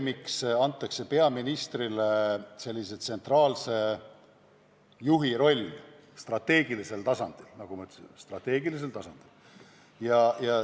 Miks antakse peaministrile sellise tsentraalse juhi roll strateegilisel tasandil?